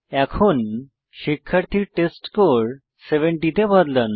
এখন শিক্ষার্থীর টেস্টস্কোর 70 তে বদলান